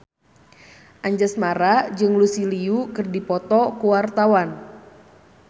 Anjasmara jeung Lucy Liu keur dipoto ku wartawan